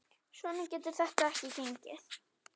Svona getur þetta ekki gengið.